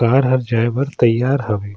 कार हा जाए बर तैयार हवे।